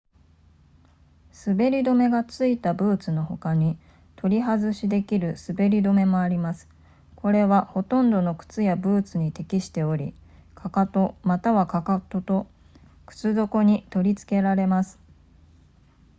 滑り止めが付いたブーツのほかに取り外しできる滑り止めもありますこれはほとんどの靴やブーツに適しており踵または踵と靴底に取り付けられます